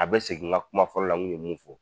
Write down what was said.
A bɛ segin ŋa kuma fɔlɔ la ŋu ye mun fɔ.